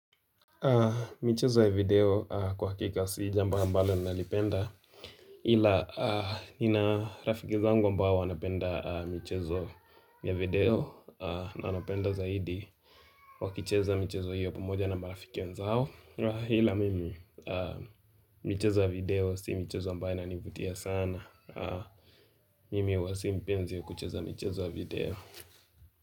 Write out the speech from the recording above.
Michezo ya video kwa hakika si jambo ambalo nalipenda ila Nina rafiki zangu ambao wanapenda michezo ya video na anapenda zaidi wakicheza michezo hiyo pamoja na marafiki wenzao hila mimi, michezo ya video si michezo ambayo inanivutia sana Mimi hua si mpenzi wa kucheza michezo ya video.